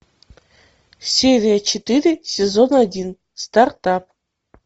серия четыре сезон один стартап